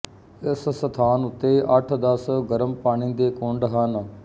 ਇਸ ਸਥਾਨ ਉੱਤੇ ਅੱਠ ਦਸ ਗਰਮ ਪਾਣੀ ਦੇ ਕੁੰਡ ਹਨ